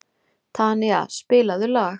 Tanía, spilaðu lag.